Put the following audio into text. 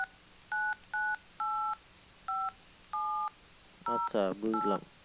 আচ্ছা বুজলাম